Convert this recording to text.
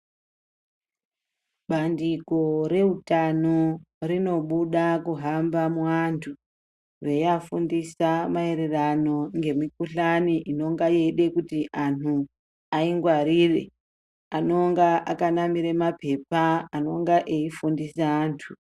Bandiko reutano rinobuda kuhamba muantu reiafundisa maererano ngemikuhlani inonga yeide kuti anhu aingwarire. Anenge akanamira mapepa anenge eifundisa antu.